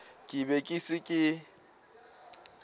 ke be ke se ke